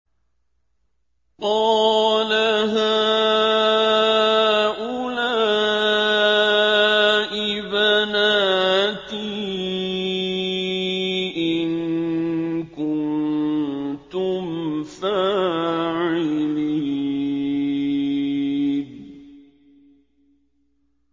قَالَ هَٰؤُلَاءِ بَنَاتِي إِن كُنتُمْ فَاعِلِينَ